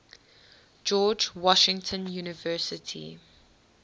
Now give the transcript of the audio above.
george washington university